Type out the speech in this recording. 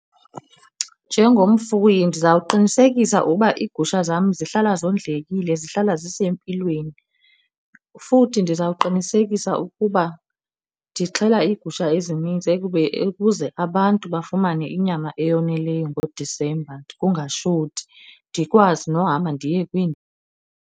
Njengomfuyi, ndiza kuwuqinisekisa ukuba iigusha zam zihlala zondlekile, zihlala zisempilweni. Futhi ndiza kuqinisekisa ukuba ndixhela iigusha ezininzi ukuze abantu bafumane inyama eyoneleyo ngoDisemba kungashoti, ndikwazi nohamba ndiye .